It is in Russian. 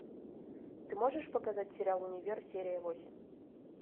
ты можешь показать сериал универ серия восемь